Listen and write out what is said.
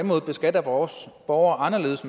måde beskatter vores borgere anderledes